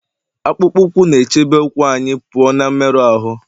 akpụkpọ ụkwụ na-echebe ụkwụ anyị pụọ na mmerụ ahụ